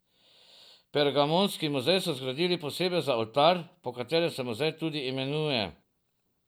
Pergamonski muzej so zgradili posebej za oltar, po katerem se muzej tudi imenuje.